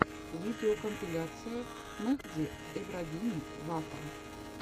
видеокомпиляция мехди эбрагими вафа